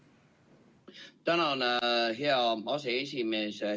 Tänan, hea aseesimees!